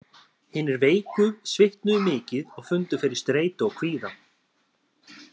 Hinir veiku svitnuðu mikið og fundu fyrir streitu og kvíða.